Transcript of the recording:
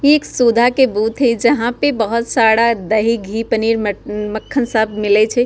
एक सुधा के बूथ हे जहाँ पे बोहोत सारा दही घी पनीर म मक्खन सब मिले छै।